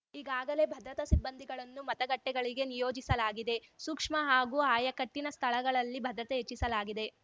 ಈಗಾಗಲೇ ಭದ್ರತಾ ಸಿಬ್ಬಂದಿಗಳನ್ನು ಮತಗಟ್ಟೆಗಳಿಗೆ ನಿಯೋಜಿಸಲಾಗಿದೆ ಸೂಕ್ಷ್ಮ ಹಾಗೂ ಆಯಕಟ್ಟಿನ ಸ್ಥಳಗಳಲ್ಲಿ ಭದ್ರತೆ ಹೆಚ್ಚಿಸಲಾಗಿದೆ